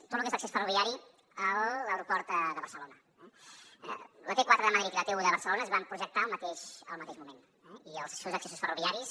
tot lo que és l’accés ferroviari a l’aeroport de barcelona eh la t4 de madrid i la t1 de barcelona es van projectar al mateix moment i els seus accessos ferroviaris